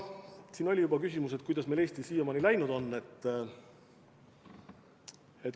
Siin kõlas küsimus, kuidas meil Eestis siiamaani läinud on.